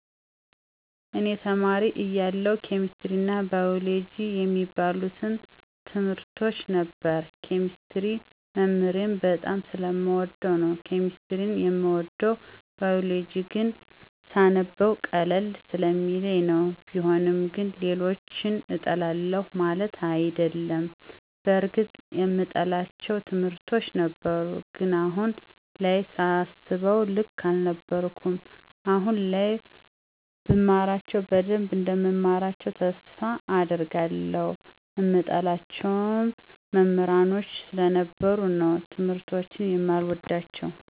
እኔ ተማሪ እያለሁ ኬሚስትሪ አና ባይወሎጀጂ የሚባሉትን ትምርቶች ነበር። ኬሚስትሪን መምህሬን በጣም ስለምወደው ነው ኬሚስትሪን የምወደው። ባይወሎጂን ግን ስነበው ቀለል ስለሚለኝ ነው። ቢሆንም ግን ሌሎችን እጠላለሁ ማለት አይደለም። በርግጥ የምጠላቸው ትምህርቶች ነበሩ። ግን አሁን ላይ ሳስበው ልክ አልነበርኩም። አሁን ላይ ብማራቸው በደንብ እንደምማራቸው ተስፋ አደርጋለሁ። ምጠላቸው መሞህሮች ስለነበሩ ነው ትምርቶችን የማልወዳቸው።